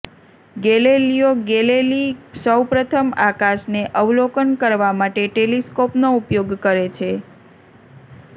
Galileo Galilei સૌ પ્રથમ આકાશને અવલોકન કરવા માટે ટેલિસ્કોપનો ઉપયોગ કરે છે